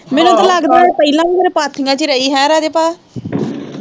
ਮੈਨੂੰ ਤੇ ਲੱਗਦਾ ਇਹ ਪਹਿਲਾਂ ਵੀ ਹਰੇ ਪਾਥੀਆਂ ਚ ਈ ਰਹੀ ਹੈਂ ਰਾਜੇ ਭਾ।